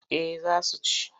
Eh za su ci.